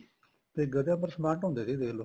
ਤੇ ਗਧਿਆਂ ਪਰ ਸਮਾਨ ਢੋਂਦੇ ਸੀ ਦੇਖਲੋ